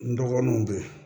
N dɔgɔninw bɛ yen